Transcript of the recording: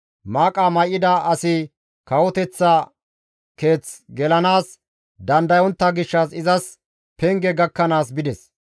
Maaqa may7ida asi kawoteththa keeth gelanaas dandayontta gishshas izas penge gakkanaas bides.